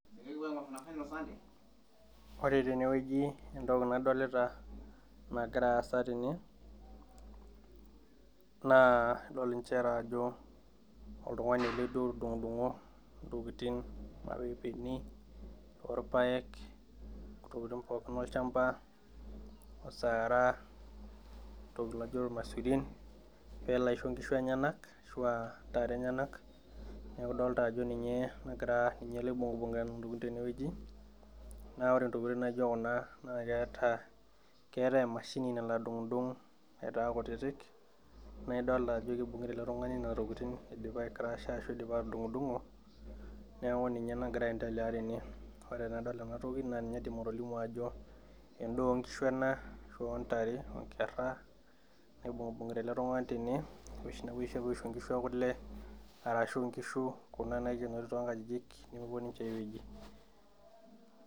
Ore teneweji entoki nadolita nagira aasa tene naa idol nchere ajo oltung'uni ele otudung'udung'o intokitin irmapepeni orpayek ontokiting pookin olchamba osara oltoki laijio ilmaisurin peelo aisho inkishu enyenak ashua intare enyenak neku idolta ajo ninye nagira ninye ele oibung'ibung'ita intokitin teneweji naa ore intokitin naijio kuna naa keeta keetae emashini nalo adung'udung aitaa kutitik naidolta ajo kibung'ita ele tung'ani nena tokitin idipa ae krasha ashu idipa atudung'udung'o neeku ninye nagira aendelea tene ore enadol enatoki naa ninye aidim atolimu ajo endaa onkishu ena ashu ontare onkerra naibung'ibung'ita ele tung'ani tene oshi napuoi aisho inkishu ekule arashu inkishu kuna naikenori tonkajijik nemepuo ninche ae wueji.